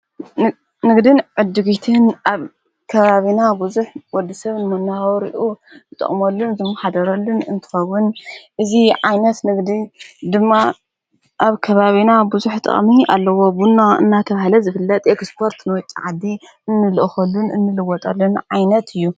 ንግድን ዕድጊትን ኣብ ከባብና ብዙኅ ወዲ ሰብ ምናሃውሪኡ ዘጠቕመሉን ዝምሓደረሉን እንትፈውን እዝ ዓይነስ ንግድ ድማ ኣብ ከባቤና ብዙኅ ጠቕሚ ኣለዎ። ቡና እናተብህለ ዝፍለይ ኤክስፖርት ናብ ውጻኢ ዓዲ እንልእኸሉን እንልወጠሉን ዓይነት እዩ።